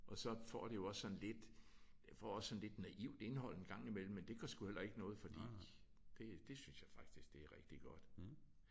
Og så får det jo også sådan lidt den får også sådan lidt naivt indhold en gang i mellem men det gør sgu heller ikke noget fordi det det synes jeg faktisk det er rigtig godt